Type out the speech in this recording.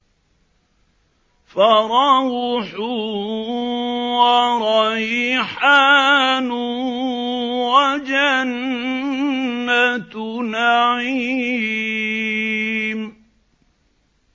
فَرَوْحٌ وَرَيْحَانٌ وَجَنَّتُ نَعِيمٍ